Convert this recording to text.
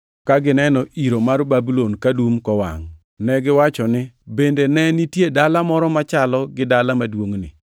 Ka gineno iro mar Babulon kadum kowangʼ, negiwacho ni, ‘Bende ne nitie dala moro machalo gi dala maduongʼni?’